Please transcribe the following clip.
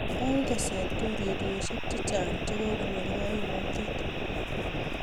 eng teset ko urerioshiek chechang che kokonyor kaimutiet